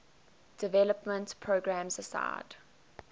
development programs aside